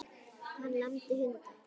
Hann lamdi hunda